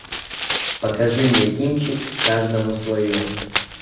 покажи мне кинчик каждому свое